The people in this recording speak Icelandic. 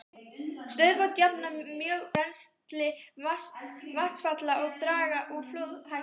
Stöðuvötn jafna mjög rennsli vatnsfalla og draga úr flóðahættu.